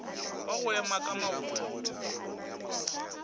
wa go ema ka maoto